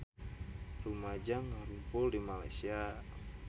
Rumaja ngarumpul di Malaysia